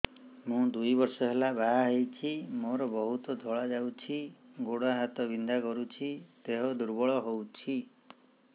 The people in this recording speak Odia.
ମୁ ଦୁଇ ବର୍ଷ ହେଲା ବାହା ହେଇଛି ମୋର ବହୁତ ଧଳା ଯାଉଛି ଗୋଡ଼ ହାତ ବିନ୍ଧା କରୁଛି ଦେହ ଦୁର୍ବଳ ହଉଛି